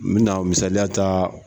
N bɛ na misaliya taaa.